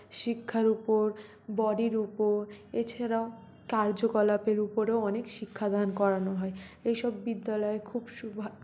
শিক্ষার উপর বডি র উপ এছাড়াও কার্যকলাপের উপরেও অনেক শিক্ষাদান করানো হয় এই সব বিদ্যালয় খুব সু--